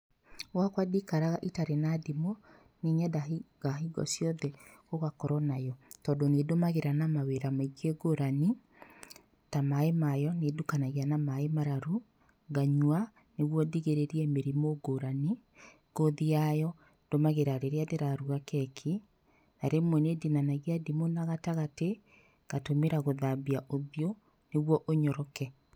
Gwakwa ndiikaraga itarĩ na ndimũ, nĩ nyendaga hingo ciothe gũgakorwo nayo, tondũ nĩ ndũmagĩra na mawĩra maingĩ ngũrani, ta maĩ mayo nĩ ndukanagia na maĩ mararu, nganyua, nĩguo ndigĩrĩrie mĩrimũ ngũrani, ngothi yayo ndũmagĩra rĩrĩa ndĩraruga keki, na rĩmwe nĩ ndinanagia ndimũ na gatagatĩ, ngatũmĩra gũthambia ũthiũ, nĩguo ũnyoroke,